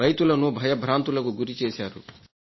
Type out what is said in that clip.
రైతులను భయభ్రాంతులకు గురిచేశారు